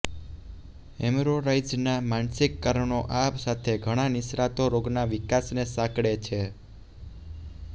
હેમરોરોઇડ્સના માનસિક કારણો આ સાથે ઘણા નિષ્ણાતો રોગના વિકાસને સાંકળે છે